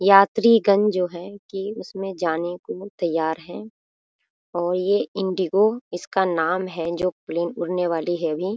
यात्री गण जो है की उसमे जाने को तैयार है और ये इंडिगो इसका नाम है जो प्लेन उड़ने वाली है अभी।